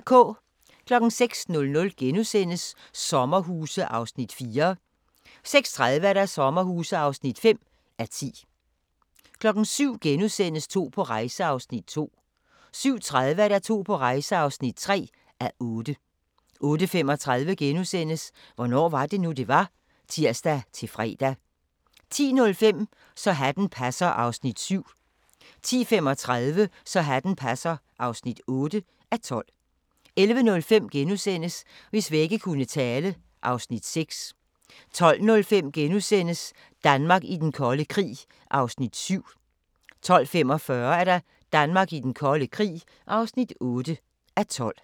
06:00: Sommerhuse (4:10)* 06:30: Sommerhuse (5:10) 07:00: To på rejse (2:8)* 07:30: To på rejse (3:8) 08:35: Hvornår var det nu, det var? *(tir-fre) 10:05: Så hatten passer (7:12) 10:35: Så hatten passer (8:12) 11:05: Hvis vægge kunne tale (Afs. 6)* 12:05: Danmark i den kolde krig (7:12)* 12:45: Danmark i den kolde krig (8:12)